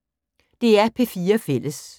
DR P4 Fælles